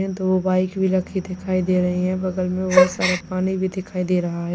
दो बाइक भी रखी दिखाई दे रही है बगल में बहुत सारा पानी भी दिखाई दे रहा है।